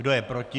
Kdo je proti?